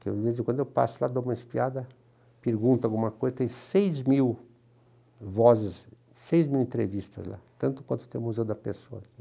Porque, de vez em quando, eu passo lá, dou uma espiada, pergunto alguma coisa, tem seis mil vozes, seis mil entrevistas lá, tanto quanto tem o Museu da Pessoa aqui.